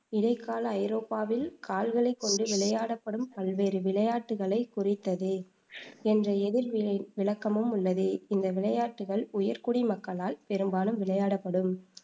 இடைக்கால ஐரோப்பாவில் கால்களைக் கொண்டு விளையாடப்படும் பல்வேறு விளையாட்டுக்களைக் குறித்தது என்ற எதிர் வினை விளக்கமும் உள்ளது இந்த விளையாட்டுகள் உயர்குடி மக்களால் பெரும்பாலும் விளையாடப்படும்